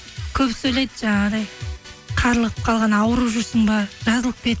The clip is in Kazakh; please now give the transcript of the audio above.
көбісі ойлайды жаңағыдай қарылып қалған ауырып жүрсің бе жазылып кет